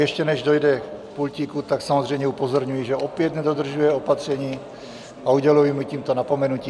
Ještě než dojde k pultíku, tak samozřejmě upozorňuji, že opět nedodržuje opatření, a uděluji mu tímto napomenutí.